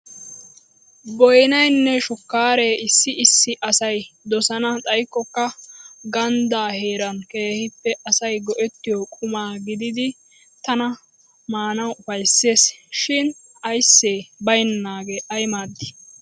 Boynaynne shukkaaree issi issi asay dosana xaykkokka ganddaa heeran keehippe asay go'ettiyo quma gididi tanakka maanawu ufayssees? Shin ayssee baynnaagee ay maaddii!